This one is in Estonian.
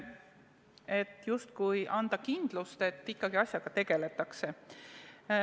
Sellega justkui tahetakse anda kindlust, et ikkagi asjaga tegeletakse.